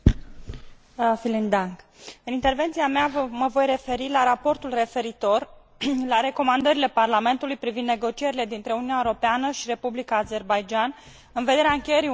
În intervenția mea mă voi referi la raportul referitor la recomandările Parlamentului privind negocierile dintre Uniunea Europeană și Republica Azerbaidjan în vederea încheierii unui acord de asociere.